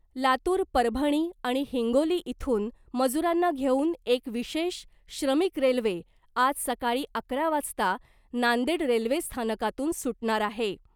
लातूर परभणी आणि हिंगोली इथून मजुरांना घेऊन एक विशेष श्रमिक रेल्वे आज सकाळी अकरा वाजता नांदेड रेल्वे स्थानकातून सुटणार आहे .